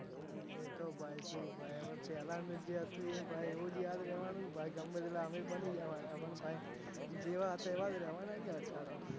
પેલાનું જે હતું એજ યાદ રેવાનું ભાઈ ગમે તેટલા અમીર બની જ્યાં પરા પણ ભાઈ જેવા હતા એવા રેવાના અડધાતો